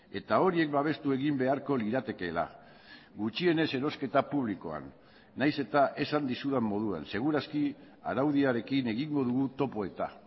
eta horiek babestu egin beharko liratekeela gutxienez erosketa publikoan nahiz eta esan dizudan moduan seguraski araudiarekin egingo dugu topo eta